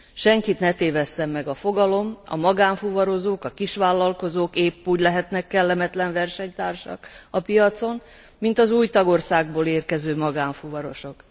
Senkit ne tévesszen meg a fogalom, a magánfuvarozók, a kisvállalkozók éppúgy lehetnek kellemetlen versenytársak a piacon, mint az új tagországból érkező magánfuvarosok.